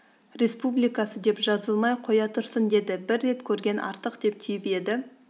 республикасы деп жазылмай қоя тұрсын деді бір рет көрген артық деп түйіп еді